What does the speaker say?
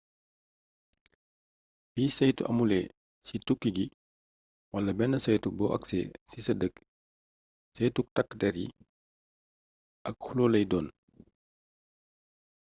bi saytu amulé ci tukki gi wala bénn saytu bo aksé ci sa dëkk saytuk takk dér yi ak xulloo lay doon